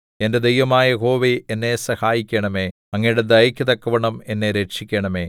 എന്റെ ദൈവമായ യഹോവേ എന്നെ സഹായിക്കണമേ അങ്ങയുടെ ദയയ്ക്കു തക്കവണ്ണം എന്നെ രക്ഷിക്കണമേ